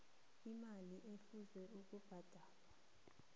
imali ekufuze ibhadalwe